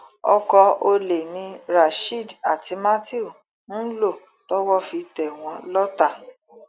ọkọ olè ni rasheed àti matthew ń lò tọwọ fi tẹ wọn lọtà